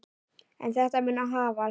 En þetta mun hafast.